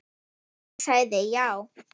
Hún sagði já.